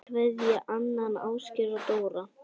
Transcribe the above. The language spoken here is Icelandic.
Kveðja, Nanna, Ásgeir og Dóra